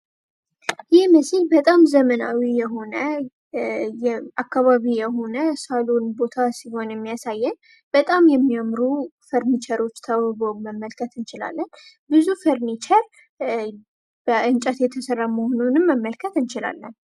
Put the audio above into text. ይህ ምስል ዘመናዊ የሆነ ሳሎን ቦታ ሲሆን የሚያሳየን በጣም የሚያምሩ ፈርኒቸሮች ተውበው መመልከት እንችላለን። ብዙ ፈርኒቸር በእንጨት የተሰራ መሆኑንም መመልከት እንችላለን።